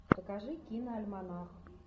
покажи киноальманах